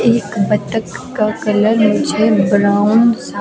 एक बतक का कलर मुझे ब्राउन स' --